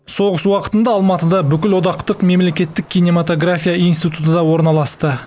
соғыс уақытында алматыда бүкілодақтық мемлекеттік кинематография институты да орналасты